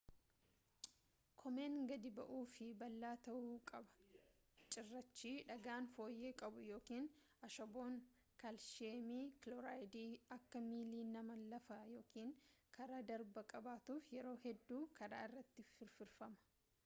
koomeen gadi bu’aaf fi bal’aa ta’uu qaba. cirraachi dhagaan fooyyee qabu yookaan ashaboon kaalshiyeem kiloorayidii akka miilli namaa lafa yookan karaa darbaa qabatuuf yeroo hedduu karaa irratti firfirfama